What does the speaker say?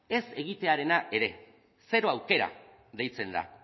ez egitearena ere zero aukera deitzen da